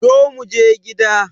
Zo muje gida